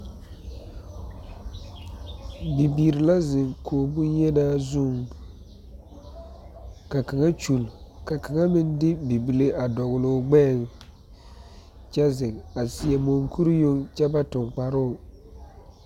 Bibiiri la zeŋ kogi bonyenaa zuŋ ka kaŋa kyoli ka kaŋa meŋ de bibile a dɔle o gbɛɛŋ kyɛ zeŋ a seɛ munkuri meŋ kyɛ ba su kparoo.